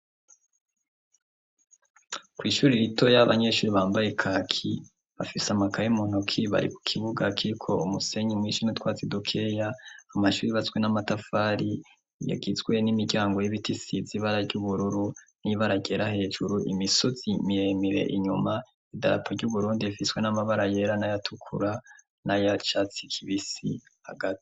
kw' ishuri rito y'abanyeshuri bambaye kaki bafise amakaye muntoki bari kukivuga kiko umusenyi mwishi nutwatsi dukeya amashure yubatswe n'amatafari yagizwe n'imiryango y'ibiti isize ibara ry'ubururu n'ibara ryera hejuru imisozi miremire inyuma idarapo ry'uburundi ifiswe n'amabara yera naya tukura naya icatsi kibisi hagati.